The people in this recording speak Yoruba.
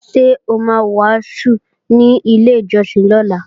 Ṣé o ma wàásù ní ilé ìjọsìn lọ́la?